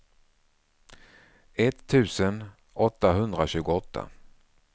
etttusen åttahundratjugoåtta